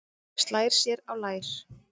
Slær sér á lær.